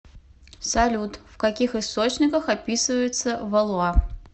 салют в каких источниках описывается валуа